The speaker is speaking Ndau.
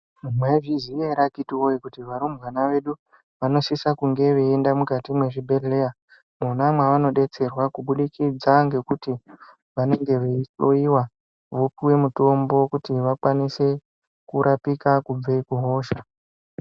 Mwaizviziya ere akhiti woye kuti varumbwana vedu vanosisa kunga veinda mukati mwezvibhendleya mwona mwavanodetserwa kubudikidza ngekuti vanenge veihloiwa vopuwa mitombo kuti vakwanise kurapika kubva kuhosha.